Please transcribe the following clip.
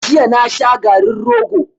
Jiya na sha garin rogo.